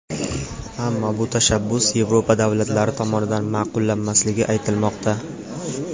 Ammo bu tashabbus Yevropa davlatlari tomonidan ma’qullanmasligi aytilmoqda.